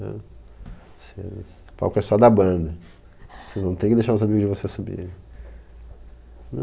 Vocês. O palco é só da banda, você não tem que deixar os amigos de vocês subirem.